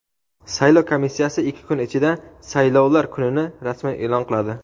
saylov komissiyasi ikki kun ichida saylovlar kunini rasman e’lon qiladi.